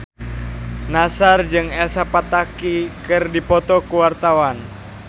Nassar jeung Elsa Pataky keur dipoto ku wartawan